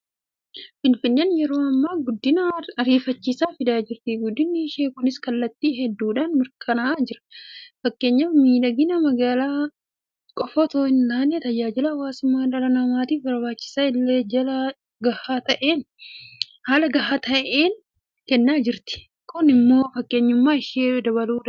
Finfinneen yeroo ammaa guddina ariifachiisaa fidaa jirti. Guddinni ishee kunis kallattii hedduudhaan mirkanaa'aa jira. Fakkeenyaaf miidhagina magaalaa qofa itoo hintaane tajaajila hawaasummaa dhala namaatiif barbaachisu illee jaala gahaa ta'een kennaa jirti. Kun immoo fakkeenyummaa ishee dabaluu danda'eera.